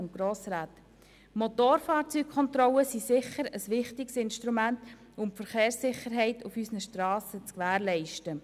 Motorfahrzeugkontrollen sind sicher ein wichtiges Instrument zur Gewährleistung der Verkehrssicherheit auf unseren Strassen.